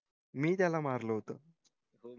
मी त्याला मारल होत